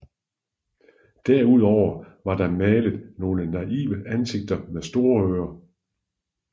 Derudover var der malet nogle naive ansigter med store ører